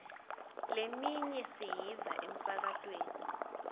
leminye siyiva emsakatweni